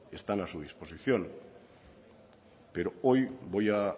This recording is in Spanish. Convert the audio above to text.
están a su disposición pero hoy voy a